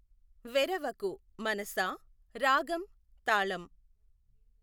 వెఱవకు మనసా రాగం తాళం